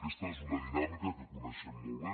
aquesta és una dinàmica que coneixem molt bé